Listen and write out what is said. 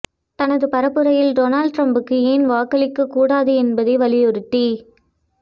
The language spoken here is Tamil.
தனது பரப்புரையில் டொனால்ட் ட்ரம்புக்கு ஏன் வாக்களிக்கக் கூடாது என்பதை வலியுறுத்தி